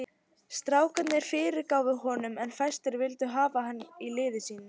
Strákarnir fyrirgáfu honum en fæstir vildu hafa hann í liði sínu.